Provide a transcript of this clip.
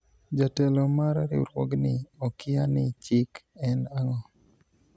jatelo mar riwruogni okia ni chik en ang'o